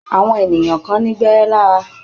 Àwọn ènìyàn kan ní gbẹ́érẹ́ lára.